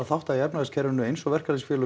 þátta í efnahagskerfinu eins og verkalýðsfélög